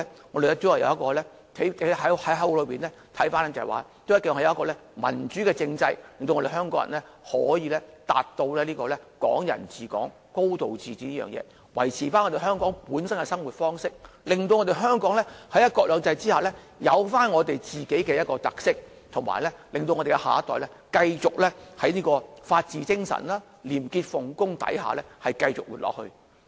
我們從口號可見，大家都希望將來會有民主政制，令香港人可以達致"港人治港"，"高度自治"，維持香港本身的生活方式，令香港在"一國兩制"下擁有本身的特色，以及令下一代可以在法治精神、廉潔奉公之下繼續生活。